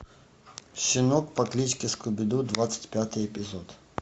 щенок по кличке скуби ду двадцать пятый эпизод